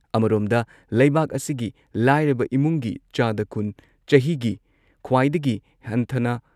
ꯑꯃꯔꯣꯝꯗ, ꯂꯩꯕꯥꯛ ꯑꯁꯤꯒꯤ ꯂꯥꯏꯔꯕ ꯏꯃꯨꯡꯒꯤ ꯆꯥꯗ ꯀꯨꯟ ꯆꯍꯤꯒꯤ ꯈ꯭ꯋꯥꯏꯗꯒꯤ ꯍꯟꯊꯅ